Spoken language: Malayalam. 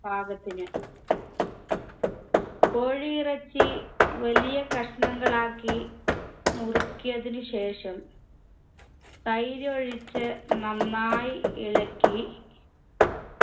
പാകത്തിന് കോഴിയിറച്ചി വലിയ കഷ്ണങ്ങളാക്കി നുറുക്കിയതിന് ശേഷം തൈരൊഴിച്ച് നന്നായി ഇളക്കി